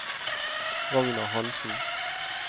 Ragnar Hanssen